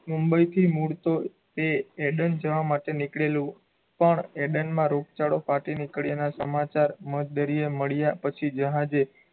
મુંબઈથી મૂળ તો એ એડન જવા માટે નીકળેલું, પણ એડનમાં રોગચાળો ફાટી નીકળીયાનાં સમાચાર મધદરિયે મળ્યાં પછી જહાજે,